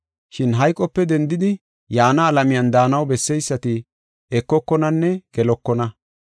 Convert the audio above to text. Shin hayqope dendidi yaana alamiyan daanaw besseysati ekokonanne gelokona.